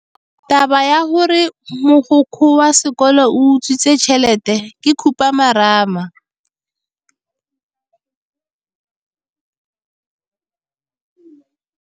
Taba ya gore mogokgo wa sekolo o utswitse tšhelete ke khupamarama.